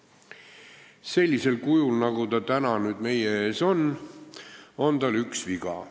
Aga sellisel kujul, nagu ta täna nüüd meie ees on, on tal üks viga.